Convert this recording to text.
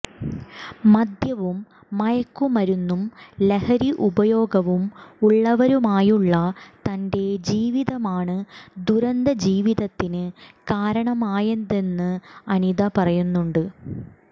മദ്യവും മയക്കുമരുന്നും ലഹരി ഉപയോഗവും ഉള്ളവരുമായുള്ള തന്റെ ജീവിതമാണ് ദുരന്ത ജീവിതത്തിന് കാരണമായതെന്ന് അനിത പറയുന്നുണ്ട്